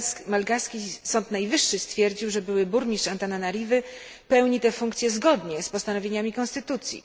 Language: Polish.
Malgaski Sąd Najwyższy stwierdził, że były burmistrz Antananarywy pełni tę funkcję zgodnie z postanowieniami konstytucji.